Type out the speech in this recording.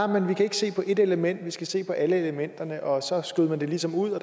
men vi kan ikke se på ét element vi skal se på alle elementerne og så skød man det ligesom ud